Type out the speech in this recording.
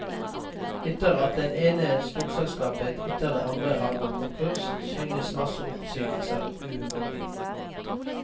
Etter at det ene storselskapet etter det andre har gått konkurs synes masseoppsigelser uunngåelig.